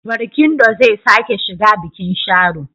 Barkindo zai sake shiga bikin Sharo.